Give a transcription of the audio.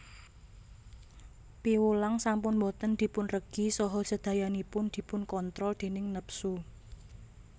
Piwulang sampun boten dipunregi saha sedayanipun dipunkontrol déning nepsu